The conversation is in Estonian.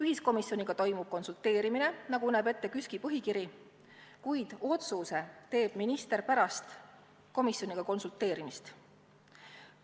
Ühiskomisjoniga konsulteeritakse, nagu näeb ette KÜSK-i põhikiri, kuid otsuse teeb pärast komisjoniga konsulteerimist minister.